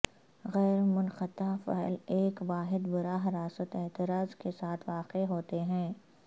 غیر منقطع فعل ایک واحد براہ راست اعتراض کے ساتھ واقع ہوتے ہیں